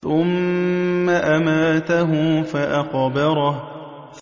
ثُمَّ أَمَاتَهُ فَأَقْبَرَهُ